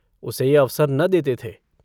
उसे यह अवसर न देते थे।